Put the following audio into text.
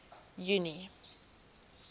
junie